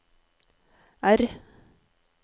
R